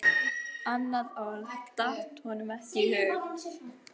Annað orð datt honum ekki í hug.